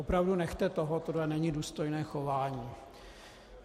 Opravdu nechte toho, tohle není důstojné chování.